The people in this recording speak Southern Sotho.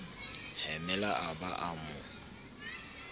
hemela a ba a mo